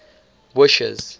wishes